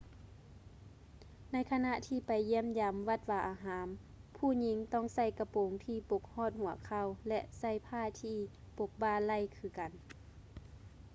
ໃນຂະນະທີ່ໄປຢ້ຽມຢາມວັດວາອາຮາມ ຜູ້ຍິງຕ້ອງໃສ່ກະໂປງທີ່ປົກຮອດຫົວເຂົ່າ ແລະ ໃສ່ຜ້າທີ່ປົກບ່າໄຫຼ່ຄືກັນ